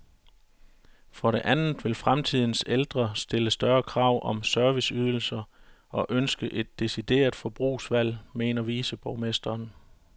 For det andet vil fremtidens ældre stille større krav om serviceydelser og ønske et decideret forbrugsvalg, mener viceborgmesteren.